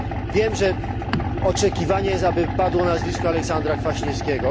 Wiem, że jest oczekiwanie, aby padło nazwisko Aleksandra Kwaśniewskiego.